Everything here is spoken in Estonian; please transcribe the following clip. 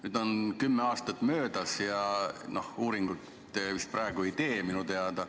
Nüüd on kümme aastat möödas ja minu teada te praegu vist uuringuid ei tee.